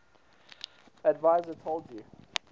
adviser told u